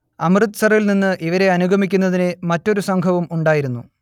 അമൃത്സറിൽനിന്ന് ഇവരെ അനുഗമിക്കുന്നതിന് മറ്റൊരു സംഘവും ഉണ്ടായിരുന്നു